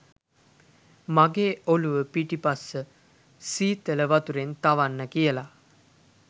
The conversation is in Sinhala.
මගෙ ඔළුව පිටිපස්ස සීතල වතුරෙන් තවන්න කියලා